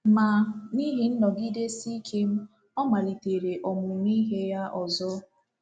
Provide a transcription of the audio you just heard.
Ma, n’ihi nnọgidesi ike m, ọ malitere ọmụmụ ihe ya ọzọ.